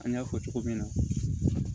An y'a fɔ cogo min na